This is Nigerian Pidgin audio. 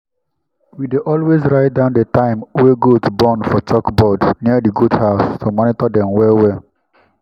we dey always write down di time wey goat born for chalkboard near di goathouse to monitor dem well well.